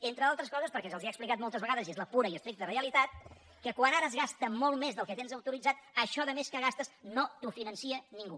entre altres coses perquè se’ls ha explicat moltes vegades i és la pura i estricta realitat que quan ara es gasta molt més del que tens autoritzat això de més que gastes no t’ho finança ningú